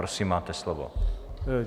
Prosím, máte slovo.